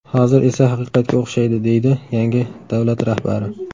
Hozir esa haqiqatga o‘xshaydi”, deydi yangi davlat rahbari.